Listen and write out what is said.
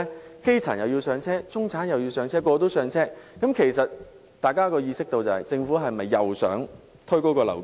當基層要"上車"，中產要"上車"，人人也要"上車"時，大家便意識到政府是否想再次推高樓價？